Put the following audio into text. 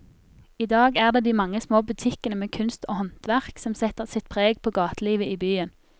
I dag er det de mange små butikkene med kunst og håndverk som setter sitt preg på gatelivet i byen.